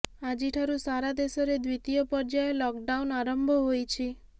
ଆଜିଠାରୁ ସାରା ଦେଶରେ ଦ୍ୱିତୀୟ ପର୍ଯ୍ୟାୟ ଲକଡାଉନ୍ ଆରମ୍ଭ ହୋଇଛି